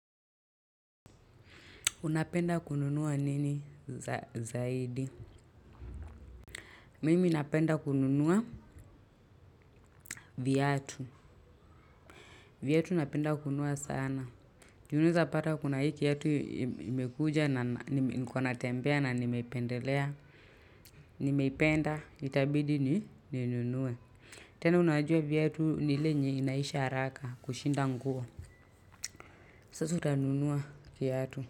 Unapenda kununua nini zaidi. Mimi napenda kununua viatu. Viatu napenda kununua sana. Unaeza pata kuna hii kiatu imekuja na niko na natembea na nimeipendelea. Nimeipenda itabidi ni ninunue. Tena unajua viatu ni ile yenye inaisha haraka kushinda nguo. Sasa utanunua kiatu.